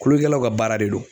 Kulokɛlaw ka baara de do